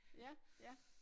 Ja ja